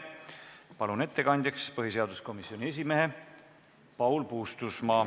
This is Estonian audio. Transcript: Palun ettekandjaks põhiseaduskomisjoni esimehe Paul Puustusmaa.